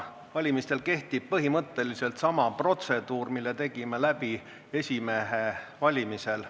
Valimisel kehtib põhimõtteliselt sama protseduur, mille tegime läbi esimehe valimisel.